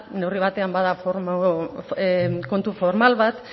neurri batean bada kontu formal bat